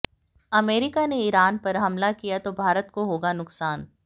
America ने Iran पर हमला किया तो भारत को होगा नुक़सान